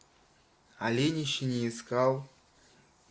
олень ещё не искал